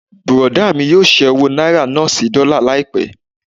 Bùrọ̀dá mí yóò ṣẹ́ owó náírà náà sí dọ́là láìpẹ́.